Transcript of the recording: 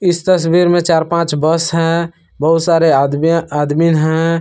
इस तस्वीर में चार पांच बस है बहुत सारे आदमी आदमीन हैं।